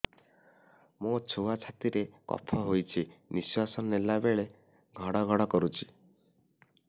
ମୋ ଛୁଆ ଛାତି ରେ କଫ ହୋଇଛି ନିଶ୍ୱାସ ନେଲା ବେଳେ ଘଡ ଘଡ କରୁଛି